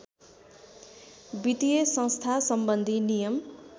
वित्तीय संस्थासम्बन्धी नियम